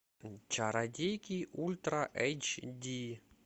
чародейки ультра эйч ди